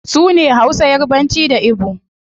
Sune hausa, yarbanci, da igbo